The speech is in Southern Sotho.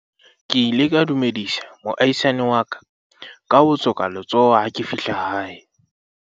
ke ile ka dumedisa moahisani wa ka ka ho tsoka letsoho ha ke fihla hae